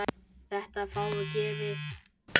Þetta er fáum gefið.